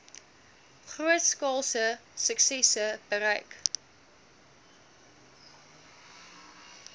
grootskaalse suksesse bereik